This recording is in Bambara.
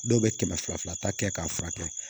Dɔw bɛ kɛmɛ fila fila ta kɛ k'a furakɛ